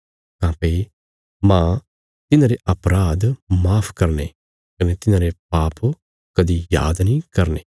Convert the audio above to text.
काँह्भई मांह तिन्हांरे अपराध माफ करने कने तिन्हांरे पाप कदीं याद नीं करगा